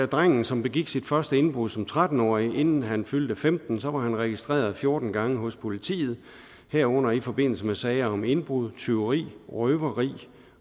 drengen som begik sit første indbrud som tretten årig inden han fyldte femten år var han registreret fjorten gange hos politiet herunder i forbindelse med sager om indbrud tyveri røveri